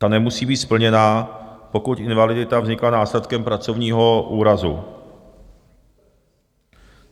Ta nemusí být splněna, pokud invalidita vznikla následkem pracovního úrazu.